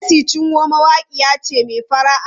Mercy Chinwo mawaƙiya ce mai fara'a.